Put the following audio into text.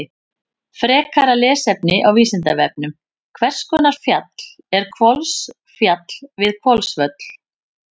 Frekara lesefni á Vísindavefnum: Hvers konar fjall er Hvolsfjall við Hvolsvöll?